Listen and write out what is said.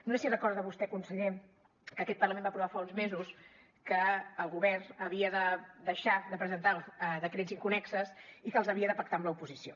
no sé si recorda vostè conseller que aquest parlament va aprovar fa uns mesos que el govern havia de deixar de presentar decrets inconnexos i que els havia de pactar amb l’oposició